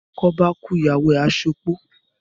Bí oko báá kúú, Ìyàwó à à se opó.